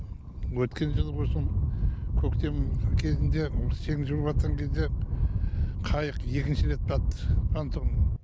өткен жылы осы көктемнің кезінде сең жүріватқан кезде қайық екінші рет батты қантұғын